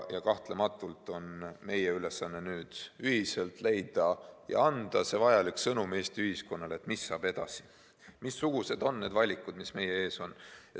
Kahtlematult on meie ülesanne nüüd ühiselt leida ja anda Eesti ühiskonnale see vajalik sõnum, mis saab edasi ja missugused valikud on meie ees.